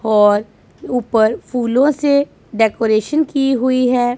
और ऊपर फूलों से डेकोरेशन की हुई है।